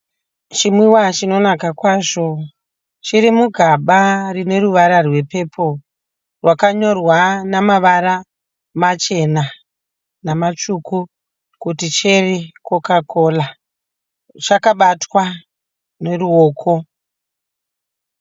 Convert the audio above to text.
Chinwiwa chinonaka kwazvo, chirimugaba rine ruvara rwepurple rwakanyorwa namavara machena namtsvuku kuti cherry coca cola. chakabatwa neruoko.